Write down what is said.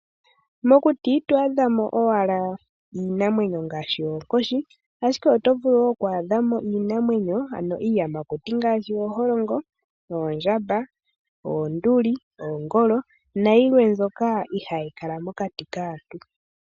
Mokuti ito adha mo owala iinamwenyo ngaashi oonkoshi, ihe oto vulu woo okwadha mo iinamwenyo ano iiyamakuti ngaashi ooholongo, oondjamba, oonduli, oongolo nayilwe mbyoka ihayi kala mokati kaantu.